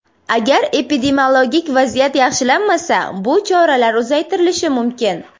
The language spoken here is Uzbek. Agar epidemiologik vaziyat yaxshilanmasa, bu choralar uzaytirilishi mumkin.